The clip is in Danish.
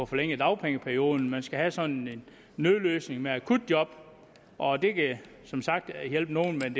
forlænge dagpengeperioden man skal have sådan en nødløsning med akutjob og det kan som sagt hjælpe nogle men